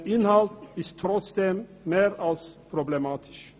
Der Inhalt ist trotzdem mehr als problematisch.